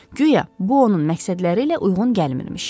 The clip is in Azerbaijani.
Güya, bu, onların məqsədləri ilə uyğun gəlmirmiş.